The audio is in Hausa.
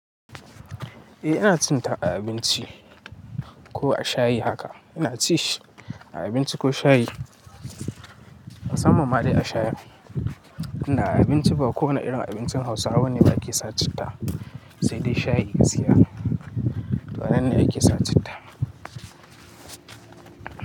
Eh ina cin ta a abinci ko a shayi haka. Ina ci shi a abinci ko shayi. A sama ma dai a shayi. Ina abinci ba ko wane irin abincin Hausawa ne ba ke sa citta, sai dai shayi gaskiya. Wannan ne ake sa citta.